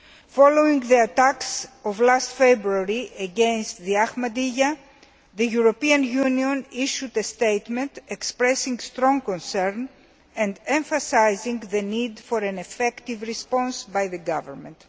Following the attacks last February against the Ahmadiyyah, the European Union issued a statement expressing strong concern, and emphasising the need for an effective response by the government.